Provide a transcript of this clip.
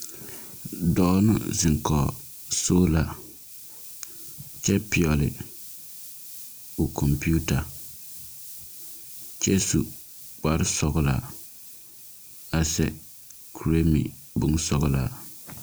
Dɔɔ la ziŋ kɔge sola kyɛ pɛgle kɔmpiita kyɛ su kparesɔglaa a kyɛ seɛ kpuresɔglaa meŋ.